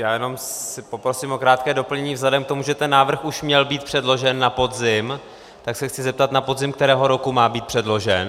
Já jenom si poprosím o krátké doplnění vzhledem k tomu, že ten návrh už měl být předložen na podzim, tak se chci zeptat, na podzim kterého roku má být předložen.